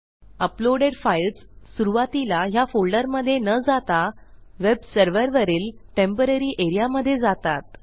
uploaded files सुरूवातीला ह्या फोल्डरमधे न जाता वेबसर्व्हरवरील टेम्पोररी एरिया मधे जातात